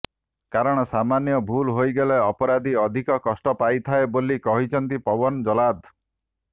କାରଣ ସାମାନ୍ୟ ଭୁଲ ହୋଇଗଲେ ଅପରାଧୀ ଅଧିକ କଷ୍ଟ ପାଇଥାଏ ବୋଲି କହିଛନ୍ତି ପୱନ ଜହ୍ଲାଦ